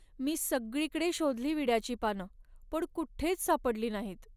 मी सगळीकडे शोधली विड्याची पानं, पण कुठेच सापडली नाहीत.